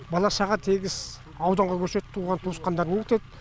бала шаға тегіс ауданға көшеді туған туысқандарына кетеді